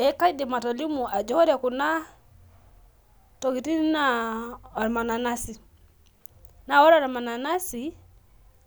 Eee kaidim atolimu ajo ore kuna tokiting naa ormananasi. Naa ore ormananasi